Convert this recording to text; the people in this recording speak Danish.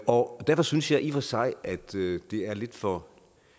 og derfor synes jeg i og for sig at det er lidt for